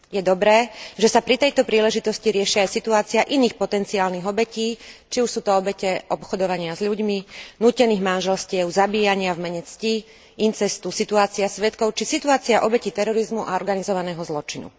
Je dobré, že sa pri tejto príležitosti riešia aj situácie iných potenciálnych obetí, či už sú to obete obchodovania s ľuďmi, nútených manželstiev, zabíjania v mene cti, incestu, situácia svedkov či situácia obetí terorizmu a organizovaného zločinu.